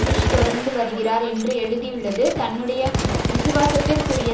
push தொடர்ந்து வருகிறார் என்று எழுதியுள்ளது தன்னுடைய விசுவாசத்திற்குரிய